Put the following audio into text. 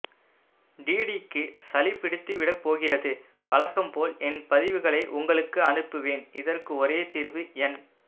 டிடிக்கு சளி பிடித்துவிடப்போகிறதுவழக்கம் பொல் என் பதிவுகளை உங்களுக்கு அனுப்புவேன் இதற்கு ஒரே தீர்வு என்